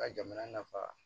Ka jamana nafa